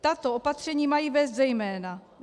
Tato opatření mají vést zejména